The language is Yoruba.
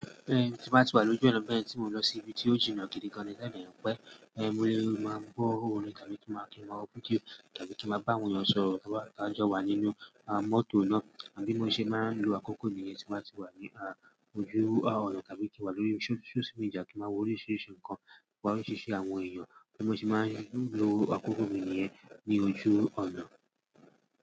Ẹ̀ tí n bá ti wà lójú ọ̀nà bẹ́ẹ̀ tí mò ń lọ sí ibi tí ó jìnnà gidi ganni tí òun òní pẹ́ ẹ́ mó máa gbọ́ orin tàbí kí máa kí máa wo fídíò tàbí kí máa bá àwọn èèyàn sọ̀rọ̀ ká máa jọ wà nínú à mọ́tò náà àbí mó ṣe máa ń lo àkókò mi yẹn tí máa ti wà ní ojú ọ̀nà tàbí kí wà lórí social media kí máa wo oríṣiríṣi nǹkan kí wà máa ṣe ṣe àwọn èèyàn kí mo sì máa ń lo àkókò mi nìyẹn ní ojú ọ̀nà.